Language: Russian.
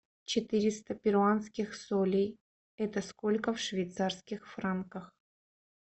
четыреста перуанских солей это сколько в швейцарских франках